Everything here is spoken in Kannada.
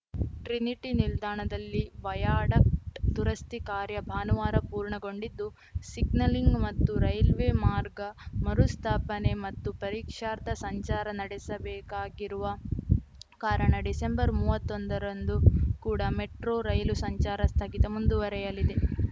ಟ್ರಿನಿಟಿ ನಿಲ್ದಾಣದಲ್ಲಿ ವಯಾಡಕ್ಟ್ ದುರಸ್ತಿ ಕಾರ್ಯ ಭಾನುವಾರ ಪೂರ್ಣಗೊಂಡಿದ್ದು ಸಿಗ್ನಲಿಂಗ್‌ ಮತ್ತು ರೈಲ್ವೆ ಮಾರ್ಗ ಮರುಸ್ಥಾಪನೆ ಮತ್ತು ಪರೀಕ್ಷಾರ್ಥ ಸಂಚಾರ ನಡೆಸಬೇಕಾಗಿರುವ ಕಾರಣ ಡಿಸೆಂಬರ್ ಮೂವತ್ತೊಂದರಂದು ಕೂಡ ಮೆಟ್ರೋ ರೈಲು ಸಂಚಾರ ಸ್ಥಗಿತ ಮುಂದುವರೆಯಲಿದೆ